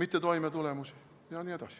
mittetoimetulemisi jne.